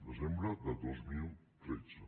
desembre de dos mil tretze